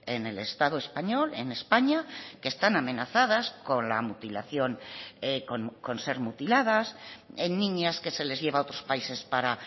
en el estado español en españa que están amenazadas con la mutilación con ser mutiladas en niñas que se les lleva a otros países para